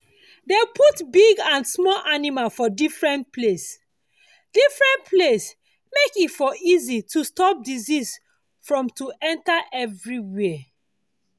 dey put big and small animal for different different place different different place make e for easy to stop disease from to enter everywhere